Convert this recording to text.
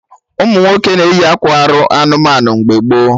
Ụmụnwoke na-eyi akwa arụ anụmanụ mgbe gboo